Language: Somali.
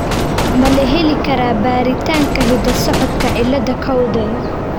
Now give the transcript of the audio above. Ma la heli karaa baaritaanka hidda-socodka cilada Cowden ?